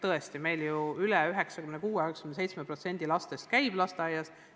Tõesti, meil ju 96–97% lastest käib lasteaias.